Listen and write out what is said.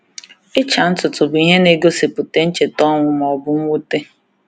Ịcha ntutu bụ ihe na-egosipụta ncheta ọnwụ ma ọ bụ mwute.